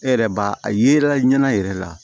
E yɛrɛ b'a a yera ɲɛna yɛrɛ la